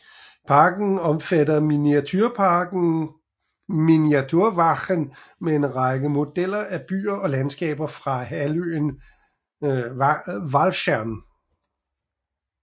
Parken omfatter miniatureparken Miniatuur Walcheren med en række modeller af byer og landskaber fra halvøen Walcheren